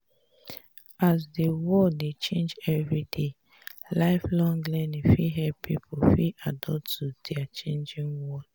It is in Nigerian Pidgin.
as di world dey change everyday life long learning fit help pipo fit adapt to di changing world